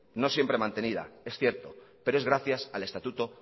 no siempre mantenida es cierto pero es gracias al estatuto